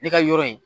Ne ka yɔrɔ in